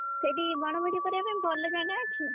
ସେଇଠି ବଣଭୋଜି କରିଆ ପାଇଁ ଭଲ ଜାଗା ଅଛି?